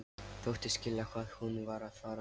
Þóttist skilja hvað hún var að fara.